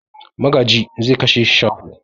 Magaji zai kashe shaho.